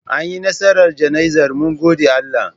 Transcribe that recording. Anyi nasarar jana'izar mun gode Allah.